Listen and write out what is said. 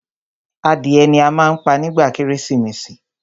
Adìẹ ni a má ń pa nígba kérésìmesì.